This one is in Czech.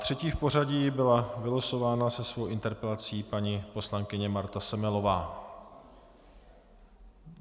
Třetí v pořadí byla vylosována se svou interpelací paní poslankyně Marta Semelová.